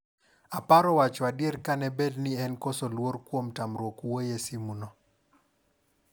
"Aparo, wacho adier, kane bed ni en koso luor, kuom tamruok wuoye simu no."